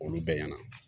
Olu bɛɛ ɲɛna